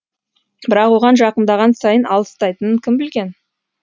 бірақ оған жақындаған сайын алыстайтынын кім білген